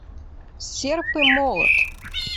серп и молот